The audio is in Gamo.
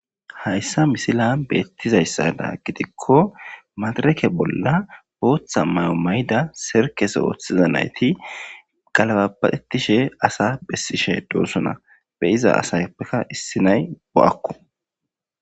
hayssa misila beettizayssada gitikko madareke bolla booththa may7o may7ida serkese ooththiza nayti galababaetishe asa bessishe doosona be iza asayppeka issinay bo7akko